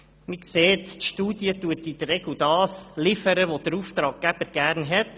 Man sieht, die Studie liefert in der Regel das, was der Auftraggeber gerne sieht.